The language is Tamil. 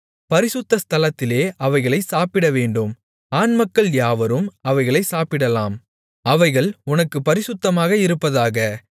பரிசுத்த ஸ்தலத்திலே அவைகளைச் சாப்பிடவேண்டும் ஆண்மக்கள் யாவரும் அவைகளைச் சாப்பிடலாம் அவைகள் உனக்குப் பரிசுத்தமாக இருப்பதாக